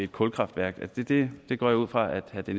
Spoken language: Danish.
kulkraftværk det det går jeg ud fra